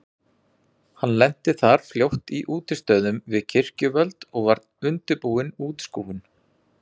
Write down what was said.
Hann lenti þar fljótt í útistöðum við kirkjuvöld og var undirbúin útskúfun.